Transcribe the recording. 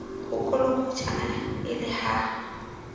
ho kolokotjhana e le ha